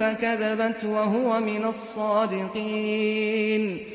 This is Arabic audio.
فَكَذَبَتْ وَهُوَ مِنَ الصَّادِقِينَ